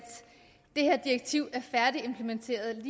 det her direktiv er færdigimplementeret